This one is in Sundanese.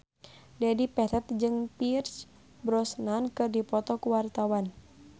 Dedi Petet jeung Pierce Brosnan keur dipoto ku wartawan